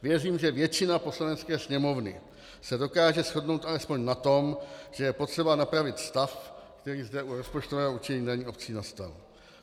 Věřím, že většina Poslanecké sněmovny se dokáže shodnout alespoň na tom, že je potřeba napravit stav, který zde u rozpočtového určení daní obcí nastal.